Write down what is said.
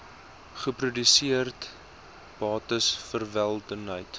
geproduseerde bates welwillendheid